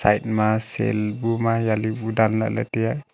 ma sel bu ma yali bu dan lahley taiya.